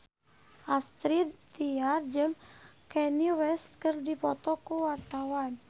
Astrid Tiar jeung Kanye West keur dipoto ku wartawan